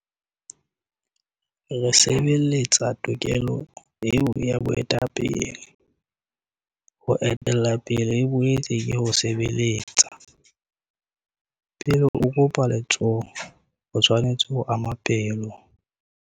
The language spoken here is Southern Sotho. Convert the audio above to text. Re sebeletsa tokelo eo ya boetapele. Ho etella pele e boetse ke ho sebeletsa.'Pele o kopa letsoho, o tshwanetse ho ama pelo'.